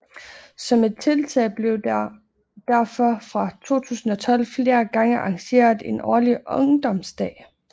Som et tiltag blev der derfor fra 2012 flere gange arrangeret en årlig ungdomsdag